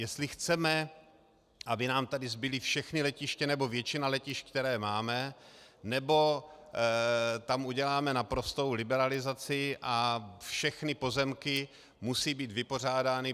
Jestli chceme, aby nám tady zbyla všechna letiště nebo většina letišť, která máme, nebo tam uděláme naprostou liberalizaci a všechny pozemky musí být vypořádány.